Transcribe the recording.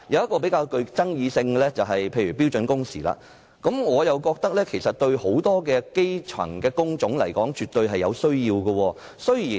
較具爭議的一點是標準工時，我認為就很多基層工種而言，這是絕對有需要的。